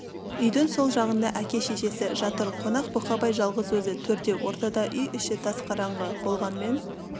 үйдің сол жағында әке-шешесі жатыр қонақ бұқабай жалғыз өзі төрде ортада үй іші тас қараңғы болғанмен